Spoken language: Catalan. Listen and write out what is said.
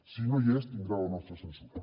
si no hi és tindrà la nostra censura